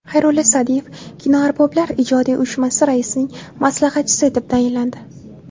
Xayrulla Sa’diyev Kinoarboblar ijodiy uyushmasi raisining maslahatchisi etib tayinlandi.